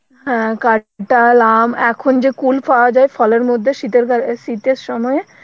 হ্যাঁ কাঁঠাল, আম, এখন যে কুল পাওয়া যায় ফলে মধ্যে শীতের কা~ শীতের সময়